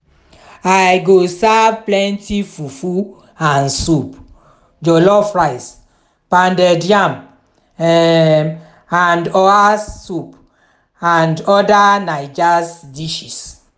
i go serve plenty fufu and soup jollof rice pounded yam um and oha soup and oda naija's dishes.